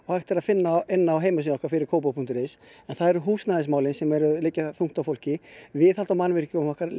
hægt að finna á heimasíðu okkar fyrirkopavog punktur is en það eru húsnæðismálin sem liggja þungt á fólki viðhald á mannvirkjunum okkar